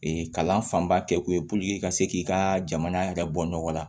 kalan fanba kɛ ko ye puruke ka se k'i ka jamana yɛrɛ bɔ nɔgɔ la